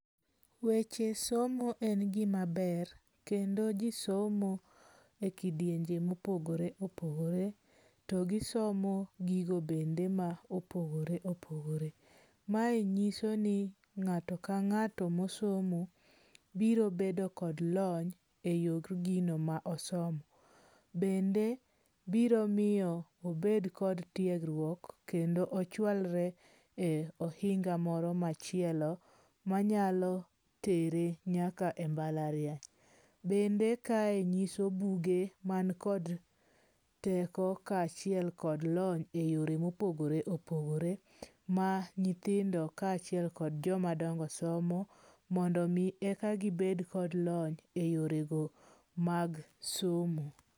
Weche somo en gima ber kendo ji somo ekidienje mopogore opogore. To gisomo gigo bende ma opogore opogore. Mae nyiso ni ng'ato kang'ato masomo, biro bedo kod lony eyor gino ma osomo. Bende biro miyo obed kod tiegruok kendo ochualre e ohinga moro machielo manyalo tere nyaka e mbalariany. Bende kae nyiso buge man kod teko kaachiel kod lony eyore mopogore opogore ma nyithindo kaachiel kod jomadongo somo mondo mi eka gibed kod lony eyorego mag somo.